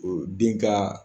den ka